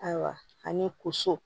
Ayiwa ani koso